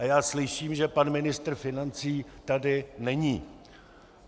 A já slyším, že pan ministr financí tady není.